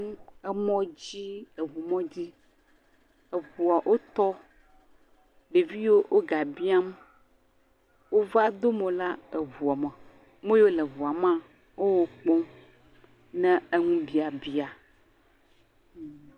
Emɔ dzi, eʋu mɔdzi, eʋuɔ o tɔ, ɖevi yo o gã biam, o va do mɔ la eʋuɔ me, me yo le ʋuame, o wo kpɔm ne eŋu biabia.